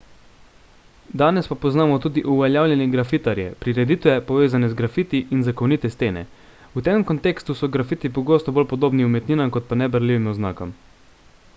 danes pa poznamo tudi uveljavljene grafitarje prireditve povezane z grafiti in zakonite stene v tem kontekstu so grafiti pogosto bolj podobni umetninam kot pa neberljivim oznakam